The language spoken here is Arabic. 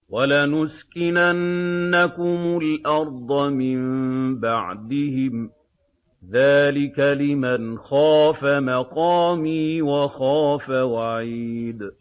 وَلَنُسْكِنَنَّكُمُ الْأَرْضَ مِن بَعْدِهِمْ ۚ ذَٰلِكَ لِمَنْ خَافَ مَقَامِي وَخَافَ وَعِيدِ